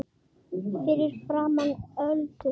Fyrir framan Öldu.